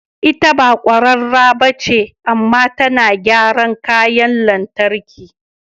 Ita ba kwararre ba ce, amma tana gyara kayan lantarki.